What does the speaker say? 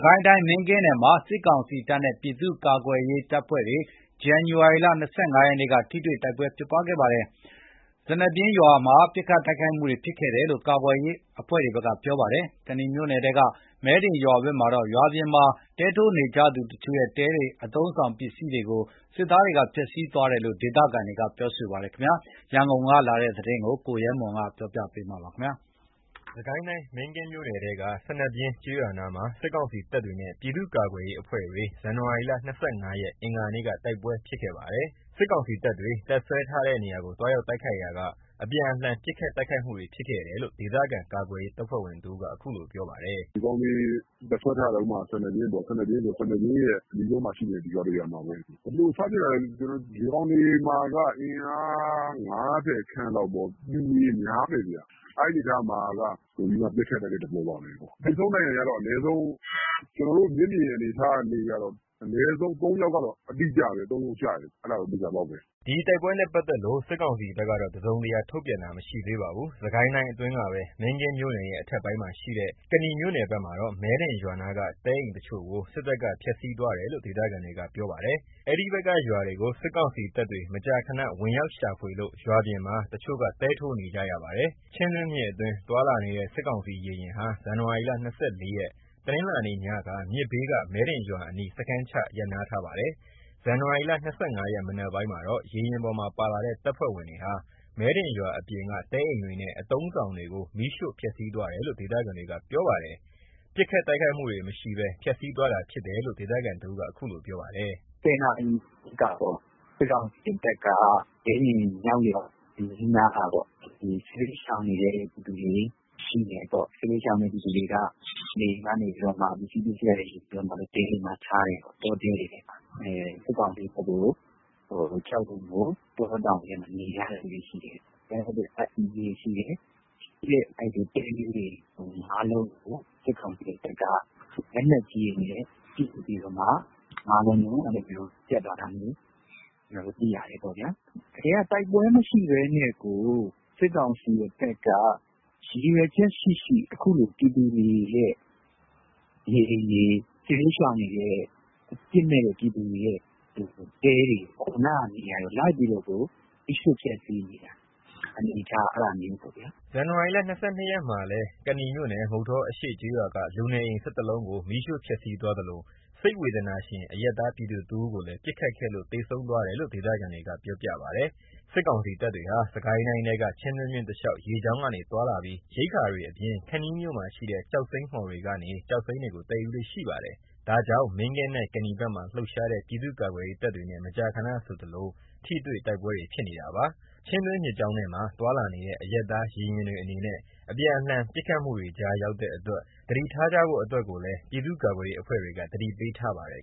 ကိုင်းတိုင်း မင်းကင်းနယ်မှာ စစ်ကောင်စီတပ်နဲ့ ပြည်သူ့ကာကွယ်ရေးအဖွဲ့တွေ ဇန်နဝါရီလ ၂၅ ရက်က ထိတွေ့ တိုက်ပွဲဖြစ်ခဲ့ပါတယ်။ စနဗျင်းရွာပြင်မှာ ပစ်ခတ်တိုက်ခိုက်မှုတွေဖြစ်ခဲ့တယ်လို့ ကာကွယ်ရေးအဖွဲ့တွေဘက်က ပြောပါတယ်။ ကနီမြို့နယ်ထဲက မဲဒင်ရွာဘက်မှာတော့ ရွာအပြင်မှာ တဲထိုးနေကြသူတချို့ရဲ့ တဲတွေနဲ့ အသုံးအဆောင်တွေကို စစ်သားတွေဖျက်ဆီးသွားတယ်လို့ ဒေသခံတွေက ပြောပါတယ်။ မင်းကင်းနယ်ထဲကအခြေအနေ ရန်ကုန်ကနေ သတင်းပေးပို့ထားပါတယ်။ စစ်ကိုင်းတိုင်း မင်းကင်းမြို့နယ်ထဲက စနဗျင်းကျေးရွာနားမှာ စစ်ကောင်စီတပ်တွေနဲ့ ပြည်သူ့ကာကွယ့်ရေးအဖွဲ့တွေ ဇန်နဝါရီလ ၂၅ ရက် အင်္ဂါနေ့က တိုက်ပွဲဖြစ်ခဲ့ပါတယ်။ စစ်ကောင်စီတပ်တွေ တပ်စွဲထားတဲ့နေရာကို သွားရောက်တိုက်ခိုက်ရာက အပြန်အလှန်ပစ်ခတ်တိုက်ခိုက်မှုတွေဖြစ်ခဲ့တယ်လို့ ဒေသခံ ကာကွယ်ရေး တပ်ဖွဲ့ဝင်တဦးက အခုလိုပြောပါတယ်။ “ဒီကောင်တွေတပ်စွဲထဲထားတဲ့ စနဗျင်းရွာပေါ့ စနဗျင်းရဲ့ အနီးဆုံးမှာရှိတဲ့ ရွာတရွာမှာပဲ ဘယ်လိုစဖြစ်တာလည်းဆိုတော့ ဒီကောင်တွေမှာက အင်အား ၅၀ ခန့်လောက်ပေါ့။ ပျူတွေများတယ်။ အဲ့အနေထားမှာက ပစ်ခတ်ကြတဲ့ သဘောပါပဲ။ သေဆုံးဒဏ်ရာရက အနည်းဆုံး ကျွန်တော်တို့ မျက်မြင်အနေအထားက ၃ ယောက်ကျတယ်။ အဲဒါက သေချာပေါက်ပဲ။” ဒီတိုက်ပွဲနဲ့ပါတ်သက်လို့ စစ်ကောင်စီဘက်ကတော့ တစုံတရာ ထုတ်ပြန်တာ မရှိသေးပါဘူး။ စစ်ကိုင်းတိုင်းအတွင်းကပဲ မင်းကင်းမြို့နယ်ရဲ့ အထက်ပိုင်းမှာရှိတဲ့ ကနီမြို့နယ်ဘက်မှာတော့ မဲဒင်ရွာနားက တဲအိမ်တချို့ကို စစ်တပ်က ဖျက်ဆီးသွားတယ်လို့ ဒေသခံတွေက ပြောပါတယ်။ အဲဒီဘက်က ရွာတွေကို စစ်ကောင်စီတပ်တွေ မကြာခဏဝင်ရောက်ရှာဖွေလို့ ရွာပြင်မှာ တချို့က တဲထိုးနေကြပါတယ်။ ချင်းတွင်းမြစ်အတွင်း သွားလာနေတဲ့ စစ်ကောင်စီရေယာဉ်ဟာ ဇန်နဝါရီ ၂၄ ရက် တနင်္လာနေ့ညက မြစ်ဘေးက မဲဒင်ရွာအနီး စခန်းချ ရပ်နားပါတယ်။ ဇန်နဝါရီ၂၅ ရက် မနက်ပိုင်းမှာတော့ ရေယာဉ်ပေါ်ပါလာတဲ့ တပ်ဖွဲ့ဝင်တွေဟာ မဲဒင်ရွာပြင်က တဲအိမ်တွေနဲ့ အသုံးအဆောင်တွေကို မီးရှို့ ဖျက်ဆီးသွားတယ်လို့ ဒေသခံတွေက ပြောပါတယ်။ ပစ်ခတ်တိုက်ခိုက်မှုတွေ မရှိဘဲ ဖျက်ဆီးသွားတာဖြစ်တယ်လို့ ဒေသခံတဦးက အခုလိုပြောပါတယ်။ “၁၀ နာရီလောက်ကပေါ့ စစ်ကောင်စီတပ်က မဲဒင်မြောက်ရွာအနီးနားက စစ်ဘေးရှောင်နေတဲ့ ပြည်သူတွေရှိတယ်ပေါ့။ စစ်ဘေးရှောင်နေတဲ့သူတွေက နေအိမ်ကနေ ပစ္စည်းတွေယူပြီးမှ တဲတွေမှာ ထားတယ်ပေါ့။ စစ်ကောင်စီတပ်ကို ကြောက်လို့ တောတောင်တွေထဲ နေရတဲ့သူတွေ ရှိတယ်။ ရှိတဲ့ အဲ့ဒီ့တဲလေးတွေ ၅ လုံးကို စစ်ကောင်စီတပ်က လက်နက်ကြီးတွေနဲ့ လက်နက်ကြီးတွေနဲ့ ပစ်ပြီးတော့မှ ၅ လုံးလုံး ဖျက်သွားတာမျိုး ကျွန်တော်တို့သိရတယ်။ တကယ်က တိုက်ပွဲမရှိဘဲနဲ့ ရည်ရွယ်ချက် ရှိရှိ အခုလို ပြည်သူတွေရဲ့ နေအိမ်တွေ စစ်ဘေးရှောင်တွေရဲ့တဲတွေကို လိုက်ပြီးတော့ မီးရှို့ဖျက်ဆီးနေတာ အနေအထားက အဲ့ဒါမျိုးပေါ့ဗျာ။” ဇန်နဝါရီ ၂၂ ရက်မှာကလည်း ကနီမြို့နယ် မုဌောအရှေ့ ကျေးရွာက လူနေအိမ် ၁၁ လုံးကို မီးရှို့ ဖျက်ဆီးသွားသလို စိတ်ဝေဒနာရှင် အရပ်သားပြည်သူတဦးကိုလည်း ပစ်ခတ်ခဲ့လို့ သေဆုံးသွားတယ်လို့ ဒေသခံတွေက ပြောပြပါတယ်။ စစ်ကောင်စီတပ်တွေဟာ စစ်ကိုင်းတိုင်းထဲက ချင်းတွင်းမြစ်တလျှောက် ရေကြောင်းကနေ သွားလာပြီး ရိက္ခာတွေအပြင်၊ ခန္တီးမြို့မှာရှိတဲ့ ကျောက်စိမ်းမှော်တွေက ကျောက်စိမ်းတွေကို သယ်ယူလေ့ရှိပါတယ်။ ဒါကြောင့် မင်းကင်းနဲ့ ကနီဘက်မှာလှုပ်ရှားတဲ့ ပြည်သူ့ကာကွယ်ရေးတပ်တွေနဲ့ မကြာခဏဆိုသလို ထိတွေ့ တိုက်ပွဲတွေဖြစ်နေတာပါ။ ချင်းတွင်းမြစ်ကြောင်းထဲမှာ သွားလာနေတဲ့ အရပ်သားရေယာဉ်တွေအနေနဲ့ အပြန်အလှန်ပစ်ခတ်မှုတွေကြား ရောက်တဲ့အတွက် သတိထားကြဖို့အတွက်ကိုလည်း ပြည်သူ့ကာကွယ်ရေးအဖွဲ့တွေက သတိပေးထားပါတယ်